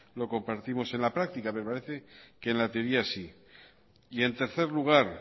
lo compartimos en la práctica me parece que en la teoría sí y en tercer lugar